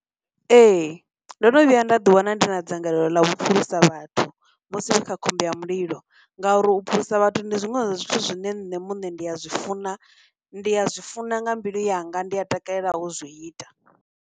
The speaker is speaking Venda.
Ee, ndo no vhuya nda ḓi wana ndi na dzangalelo ḽa vhuphulusa vhathu musi vha kha khombo ya mulilo ngauri u phulusa vhathu ndi zwiṅwe zwa zwithu zwine nṋe muṋe ndi ya zwi funa, ndi ya zwi funa nga mbilu yanga, ndi a takalelaho u zwi ita.